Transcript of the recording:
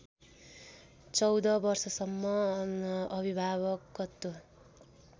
१४ वर्षसम्म अभिभावकत्व